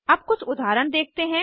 अब कुछ उदाहरण देखते हैं